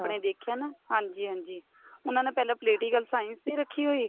ਦੇਖਿਆ ਨਾ ਹਾਂਜੀ ਹਾਂਜੀ ਉਹਨਾ ਨੇ ਪਹਿਲਾਂ politic science ਨੀਂ ਰੱਖੀ ਹੋਈ